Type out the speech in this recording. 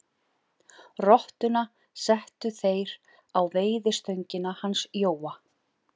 Rottuna settu þeir á veiðistöngina hans Jóa.